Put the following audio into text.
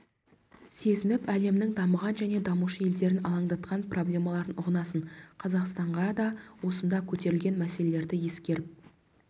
сезініп әлемнің дамыған және дамушы елдерін алаңдатқан проблемаларын ұғынасың қазақстанға да осында көтерілген мәселелерді ескеріп